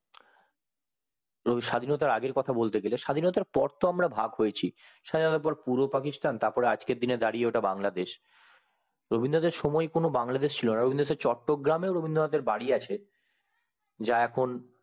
স্বাধীনতার আগের কথা বলতে গেলে স্বাধীনতার পরে তো আমরা ভাগ হয়েছি সাধারণত পূর্ব পাকিস্তান আর আজকের দিনে দাঁড়িয়ে ওটা বাংলাদেশ রবীন্দ্রনাথের সুময় কোনো বাংলদেশ ছিল না রবীন্দ্রনাথের চট্টগ্রামে রবীন্দ্রনাথ এর বাড়ি অছে যা এখন